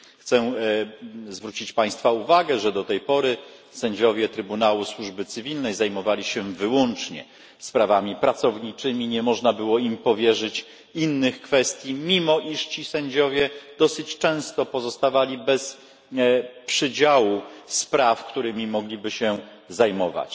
Chciałbym zwrócić państwa uwagę, że do tej pory sędziowie Sądu ds. Służby Publicznej zajmowali się wyłącznie sprawami pracowniczymi. Nie można było im powierzyć innych kwestii, mimo iż ci sędziowie dosyć często pozostawali bez przydziału spraw, którymi mogliby się zajmować.